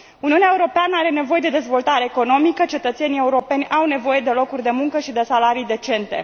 Uniunea Europeană are nevoie de dezvoltare economică, cetățenii europeni au nevoie de locuri de muncă și de salarii decente.